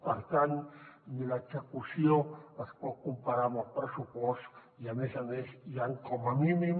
per tant ni l’execució es pot comparar amb el pressupost i a més a més hi han com a mínim